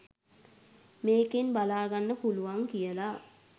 මේකෙන් බලාගන්න පුළුවන් කියලා